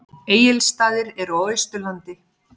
Egilsstaðir eru á Austurlandi.